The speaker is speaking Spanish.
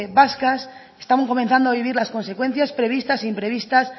vascas están comenzando a vivir las consecuencias previstas e imprevistas